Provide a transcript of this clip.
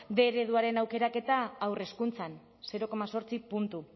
bostehun ereduaren aukeraketa haur hezkuntzan zero koma zortzi puntu